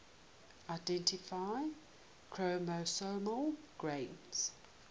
identify chromosomal gains